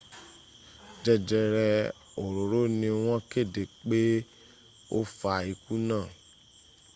jẹjẹrẹ òróòro ni wọn kéde pé ó fa ikú náà